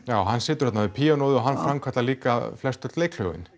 já hann situr þarna við píanóið og hann framkallar líka flest öll leikhljóðin